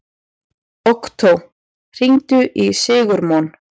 Októ, hringdu í Sigurmon.